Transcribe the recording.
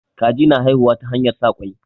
Kaji na haihuwa ta hanyar sa ƙwai.